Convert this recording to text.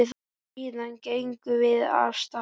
Síðan gengum við af stað.